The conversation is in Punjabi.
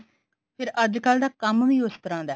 ਫਿਰ ਅੱਜਕਲ ਦਾ ਕੰਮ ਵੀ ਉਸ ਤਰ੍ਹਾਂ ਦਾ ਹੈ